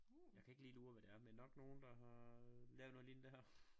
Jeg kan ikke lige lure hvad det er men nok nogen der har lavet noget lignende det her